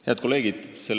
Head kolleegid!